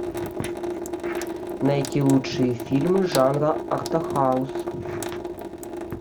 найти лучшие фильмы жанра артхаус